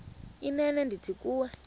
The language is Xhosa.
inene ndithi kuwe